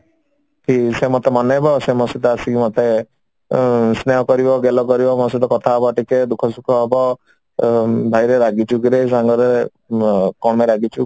କି ସେ ମୋତେ ମନେଇବ ସେ ମୋ ସହିତ ଆସିକି ମୋତେ ଉଁ ସ୍ନେହ କରିବ ଗେଲ କରିବ ମୋ ସହିତ କଥା ହବ ଟିକେ ଦୁଖ ସୁଖ ହବ ଅ ଭାଇରେ ରାଗିଛୁ କିରେ ସାଙ୍ଗରେ ଅ କଣ ପାଇଁ ରାଗିଛୁ